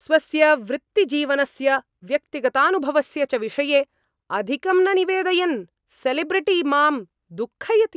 स्वस्य वृत्तिजीवनस्य व्यक्तिगतानुभवस्य च विषये अधिकं न निवेदयन् सेलेब्रिटि माम् दुःखयति।